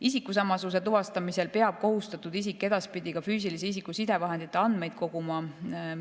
Isikusamasuse tuvastamisel peab kohustatud isik edaspidi ka füüsilise isiku sidevahendite andmeid koguma.